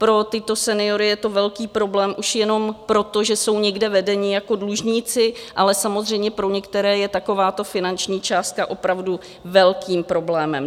Pro tyto seniory je to velký problém už jenom proto, že jsou někde vedeni jako dlužníci, ale samozřejmě pro některé je takováto finanční částka opravdu velkým problémem.